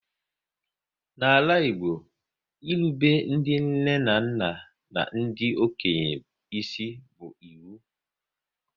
N'ala Igbo, irube ndị nne na nna n'ndi okenye isi bu ịwu